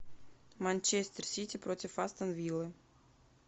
манчестер сити против астон виллы